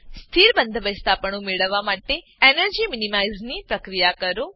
સ્થિર બંધબેસતાપણું મેળવવા માટે એનર્જી મીનીમાઈઝની પ્રક્રિયા કરો